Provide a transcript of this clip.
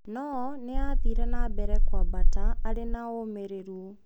No nĩ aathire na mbere kũambata arĩ na ũmĩrĩru.